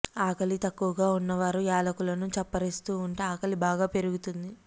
ఆకలి తక్కువగా ఉన్నవారు యాలకులను చప్పరిస్తూ ఉంటే ఆకలి బాగా పెరుగుతుంది